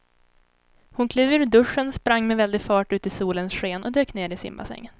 Hon klev ur duschen, sprang med väldig fart ut i solens sken och dök ner i simbassängen.